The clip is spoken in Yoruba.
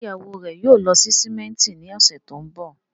Ṣé ìyàwó rẹ̀ yóò lọ sí símẹ́ńtì ní ọ̀sẹ̀ tó ń bọ̀?